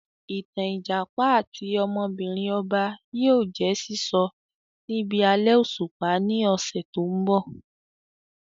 Ìtàn Ìjàpá àti ọmọbìnrin ọba yìí ó jẹ̀ sísọ níbi alẹ́ òṣùpá ni ọ̀sẹ̀ tòun bọ̀